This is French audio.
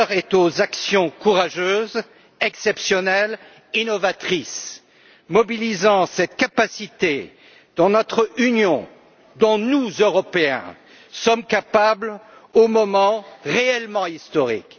aux actions courageuses, exceptionnelles et innovatrices qui font appel à cette capacité dans notre Union dont nous, Européens, sommes capables aux moments réellement historiques.